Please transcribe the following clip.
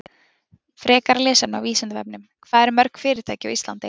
Frekara lesefni á Vísindavefnum: Hvað eru mörg fyrirtæki á Íslandi?